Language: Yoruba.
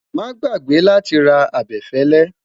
má gbàgbé láti rà abefele